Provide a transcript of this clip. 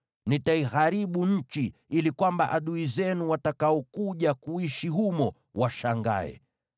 Nitaiharibu nchi, ili adui zenu watakaokuja kuishi humo washangae.